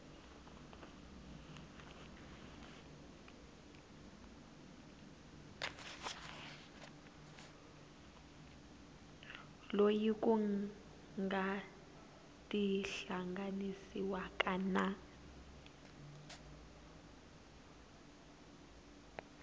loyi ku nga tihlanganisiwaka na